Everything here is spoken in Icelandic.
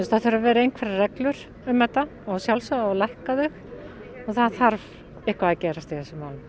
það þurfi að vera einhverjar reglur um þetta og að sjálfsögðu á að lækka þau og það þarf eitthvað að gerast í þessum málum